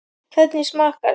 Hvernig smakkast?